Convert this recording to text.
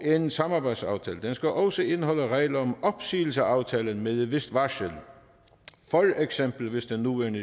en samarbejdsaftale skal også indeholde regler om opsigelse af aftalen med et vist varsel for eksempel hvis den nuværende